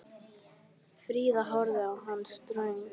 Fríða horfði á hann ströng.